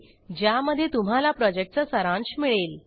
ज्यामध्ये तुम्हाला प्रॉजेक्टचा सारांश मिळेल